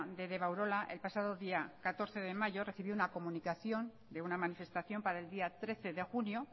de deba urola el pasado día catorce de mayor recibió una comunicación de una manifestación para el día trece de junio